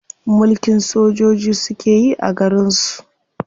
Mulkin sojoji suke yi a garin su.